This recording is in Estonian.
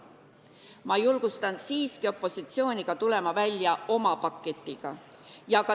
Ma julgustan siiski opositsiooni tulema välja oma paketiga.